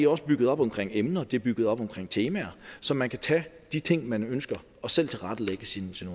også bygget op omkring emner det er bygget op omkring temaer så man kan tage de ting man ønsker og selv tilrettelægge sin